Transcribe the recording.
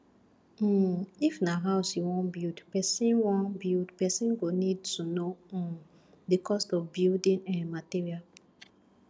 um if na house you wan build person wan build person go need to know um di cost of building um materials